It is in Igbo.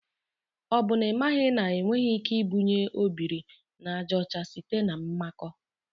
O bụ na imaghị na enweghị ike ibunye obiri na aja ocha site na mmakọ.